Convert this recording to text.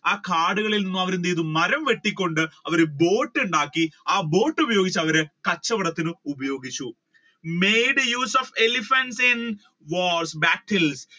ആ കാടുകളിൽ നിന്ന് അവർ എന്ത് ചെയ്തു മരം വെട്ടികൊണ്ട് അവർ boat ഉണ്ടാക്കി ആ boat ഉപയോഗിച്ച് അവർ കച്ചവടത്തിന് ഉപയോഗിച്ചു made use of elephant in wars battle